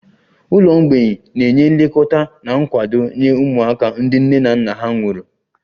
Ụlọ mgbei na-enye nlekọta na nkwado nye ụmụaka ndị nne na nna ha nwụrụ